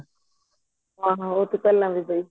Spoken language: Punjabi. ਹਾਂ ਹਾਂ ਉਹ੍ਹ ਤਾਂ ਚੱਲ